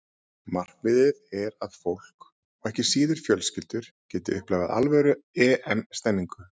Markmiðið er að fólk, og ekki síður fjölskyldur, geti upplifað alvöru EM stemningu.